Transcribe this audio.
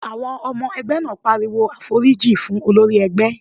Àwọn ọmọ ẹgbẹ́ náà pariwo "àforíjì fún olórí ẹgbẹ́!"